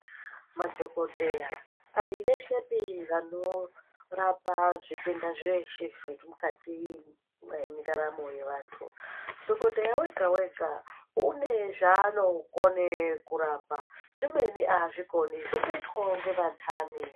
Madhokodheya aiveshepi vanorapa zvitenda zveshe zvemukati mendaramo yevanthu, dhokodheya wega wega une zvaanokone kurapa zvimweno aazvikoni zvinoitwawo ngevantani.